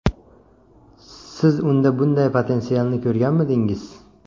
Siz unda bunday potensialni ko‘rganmidingiz?